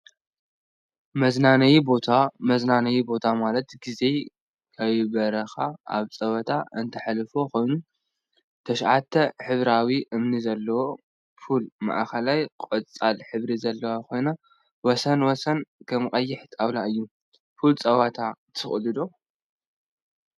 መዝናነይ ቦታ መዝናነይ ቦታ ማለት ግዜ ከይደበረካ አብ ፀወታ እንትተሕልፎ ኮይኑ፤ ትሽዓተ ሕብራዊ እምኒ ዘለዋ ፑል ማእከላ ቆፃል ሕብሪ ዘለዋ ኮይኑ ወሰን ወሰና ከዓ ቀይሕ ጣውላ እዩ፡፡ ፑል ፀወታ ትክእሉ ዶ?